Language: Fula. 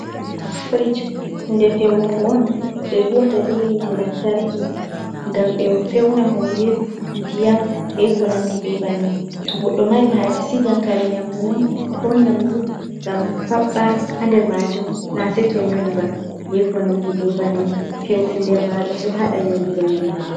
Firish hunde feunugo on je huuwata be hiiite lantarki ngam be feuna hunde ndiyam be konandi be bannin, to goɗɗo mari haaje sigan kaare nyaamdu mum ko nyaamdu ngam faɓɓa ha nder maajum na seeto nyooli ba be ko nandi be bannin, feuɗum nder maajum ɗon haɗa nyoolugo nyaamdu.